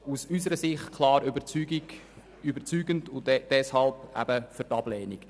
Aus unserer Sicht ist die Antwort klar überzeugend, und deshalb sind wir für die Ablehnung.